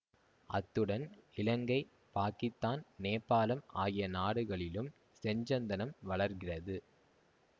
அத்துடன் இலங்கை பாக்கித்தான் நேபாளம் ஆகிய நாடுகளிலும் செஞ்சந்தனம் வளர்கிறது